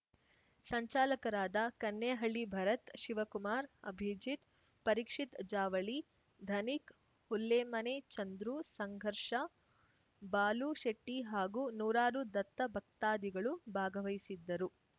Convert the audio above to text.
ಸಂಚಾಲಕರಾದ ಕನ್ನೆಹಳ್ಳಿ ಭರತ್‌ ಶಿವಕುಮಾರ್‌ ಅಭಿಜಿತ್‌ ಪರೀಕ್ಷಿತ್‌ ಜಾವಳಿ ಧನಿಕ್‌ ಹುಲ್ಲೆಮನೆ ಚಂದ್ರು ಸಂಘರ್ಷ ಬಾಲು ಶೆಟ್ಟಿಹಾಗೂ ನೂರಾರು ದತ್ತ ಭಕ್ತಾದಿಗಳು ಭಾಗವಹಿಸಿದ್ದರು